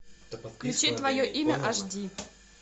включи твое имя аш ди